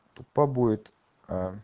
тупо будет а